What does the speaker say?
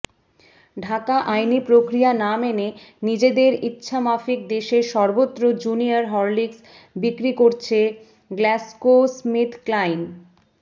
ঢাকাঃ আইনি প্রক্রিয়া না মেনে নিজেদের ইচ্ছামাফিক দেশের সর্বত্র জুনিয়র হরলিক্স বিক্রি করছে গ্ল্যাক্সোস্মিথক্লাইন